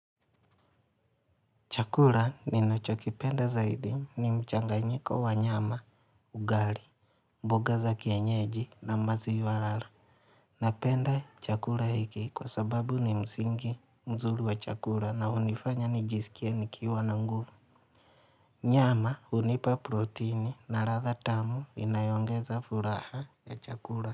Chakura ninacho kipenda zaidi ni mchanganyiko wa nyama, ugali, mboga za kienyeji na maziwa lala Napenda chakura hiki kwa sababu ni msingi mzuri wa chakura na unifanya nijisikie ni kiwa na nguvu. Nyama unipa proteini na ratha tamu inayoongeza furaha ya chakura.